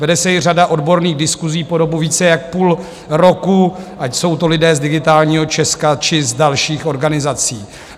Vede se i řada odborných diskusí po dobu více jak půl roku, ať jsou to lidé z Digitálního Česka, či z dalších organizací.